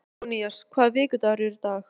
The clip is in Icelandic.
Sófónías, hvaða vikudagur er í dag?